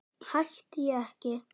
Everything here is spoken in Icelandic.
Hætti ég ekki?